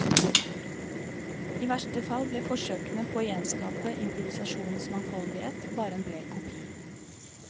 I verste fall ble forsøkene på å gjenskape improvisasjonenes mangfoldighet bare en blek kopi.